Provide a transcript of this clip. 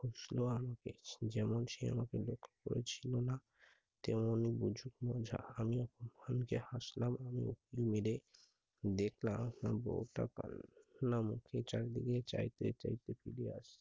যেমন সে আমাকে দেখা করেছিলো না, তেমনি বুঝুক মজা। আমি এখন খনিকে হাসলাম ও মুকুল মিলে দেখলাম আমার বউটা কালনা মুখে চারদিকে চাইতে চাইতে ফিরিয়া আসি